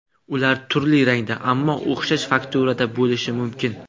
Ular turli rangda, ammo o‘xshash fakturada bo‘lishi mumkin.